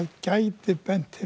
gæti bent